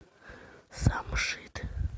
самшит